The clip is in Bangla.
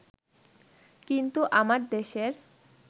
কিন্তু আমার দেশের